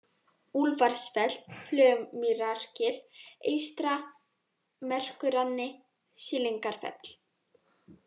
Úlfarsfell, Flögumýrargil eystra, Merkurrani, Sýlingarfell